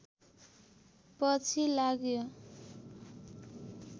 पछि लाग्यो